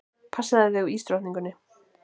Passaðu þig á ísdrottningunni.